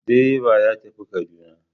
Direba ya tafi kaduna.